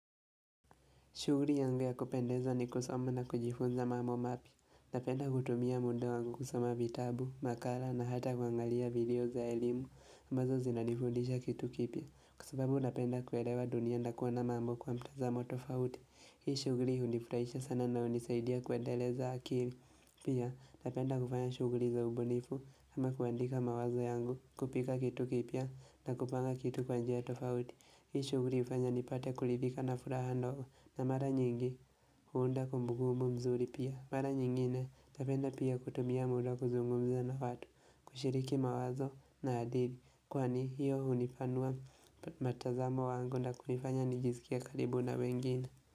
Shughuli yangu ya kupendeza ni kusoma na kujifunza mambo mapya. Napenda kutumia muda wangu kusoma vitabu, makala na hata kuangalia video za elimu. Ambazo zinanifundisha kitu kipya. Kwa sababu napenda kuelewa dunia na kuona mambo kwa mtazamo tofauti. Hii shughuli hunifurahisha sana na hunisaidia kuendeleza akili. Pia napenda kupanya shughuli za ubunifu ama kuandika mawazo yangu, kupika kitu kipya na kupanga kitu kwa njia tofauti. Hii shughuli hufanya nipate kuridhika na furaha ndogo na mara nyingi huunda kumbukumbu mzuri pia. Mara nyingine napenda pia kutumia muda kuzungumza na watu, kushiriki mawazo na hadithi kwani hiyo hunipanua mtazamo wangu na kunifanya nijisikie karibu na wengine.